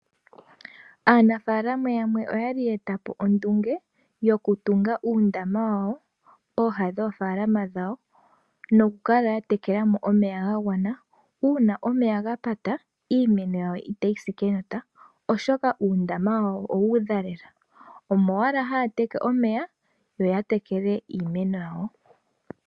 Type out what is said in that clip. Aanafalama yamwe oya li ya eta po ondunge wo ku tunga uundama wawo pooha dhoofalama dhawo, no ku kala ya tekela mo omeya ga gwana. Uuna omeya ga pata iimeno yawo itayi si kenota, oshoka uundama wawo owa udha lela. Omo wala haya teke omeya yo ya tekele iimeno yawo.